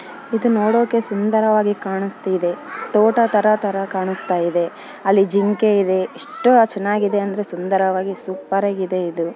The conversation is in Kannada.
ಇದು ನೋಡೋಕೆ ಸುಂದರವಾಗಿ ಕಾಣುಸ್ತಿದೆತೋಟ ತರ ತರ ಕಾಣಸ್ತಾ ಇದೆ ಅಲ್ಲಿ ಜಿಂಕೆ ಇದೆ ಎಷ್ಟು ಚೆನ್ನಾಗಿದೆ ಅಂದ್ರೆ ಸುಂದರವಾಗಿ ಸೂಪರ್ ಆಗಿದೆ ಇದು.